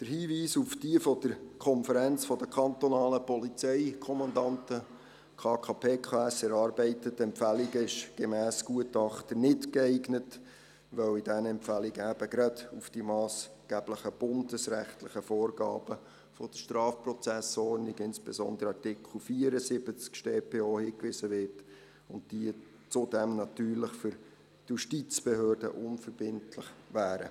Der Hinweis auf die von der KKPKS erarbeiteten Empfehlungen ist gemäss Gutachter nicht geeignet, weil in diesen Empfehlungen auf die massgeblichen bundesrechtlichen Vorgaben der StPO, insbesondere deren Artikel 74, hingewiesen wird und diese zudem für die Justizbehörden unverbindlich wären.